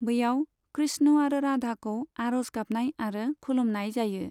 बैयाव कृष्ण आरो राधाखौ आरज गाबनाय आरो खुलुमनाय जायो।